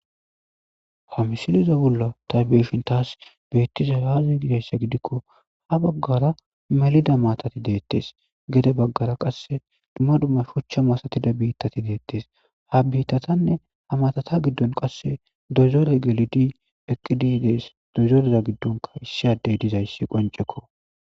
Ha midileza bolla ta beyishin tas beti, ay aza gizaysa gidiko ha bagara melida maatati deetes Gede bagara wase duma duma shucha misatiza bitati deetes ha bittatanne maatata gidon qase doyzorey gelidi dees doyzoreza gidon qase issi addey dees.